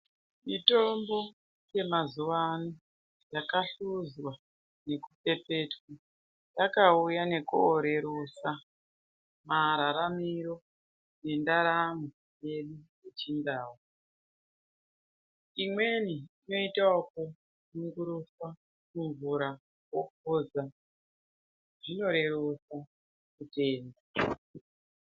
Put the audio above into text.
Mitombo yemazuva ano yakahluzwa nekupepetwa. Vakauya nekorerutsa mararamiro nendaramo yedu yechindau. Imweni inoita okunyunguruswa mumvura wophuza, zvinoreruka kuimwa.